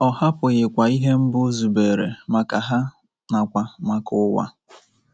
Ọ hapụghịkwa ihe mbụ o zubere maka ha nakwa maka ụwa.